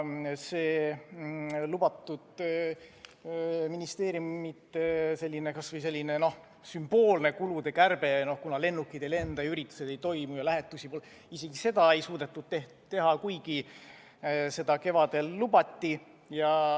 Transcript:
Isegi lubatud ministeeriumide kulude kärbet, kas või sümboolset – kuna lennukid ei lenda, üritusi ei toimu ja ka lähetusi pole – ei suudetud teha, kuigi seda kevadel lubati.